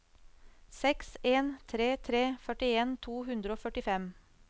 seks en tre tre førtien to hundre og førtifem